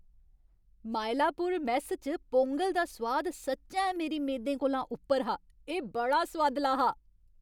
Mylapore mess च पोंगल दा सोआद सच्चैं मेरी मेदें कोला उप्पर हा। एह् बड़ा सोआदला हा।